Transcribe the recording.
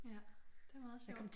Ja. Det er meget sjovt